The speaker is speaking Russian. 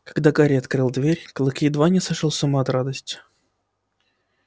когда гарри открыл дверь клык едва не сошёл с ума от радости